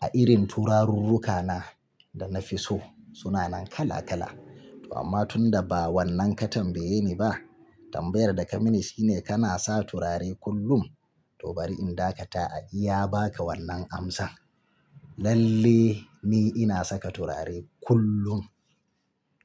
a irin turarurrukana da nafi so sunanan kala kala. To amma tun da ba wannan ka tambaye ni ba, tambayar da ka mini shine kana sa turare kullum? To bari in dakata a iya baka wannan amsa. Lalle ni ina saka turare kullum.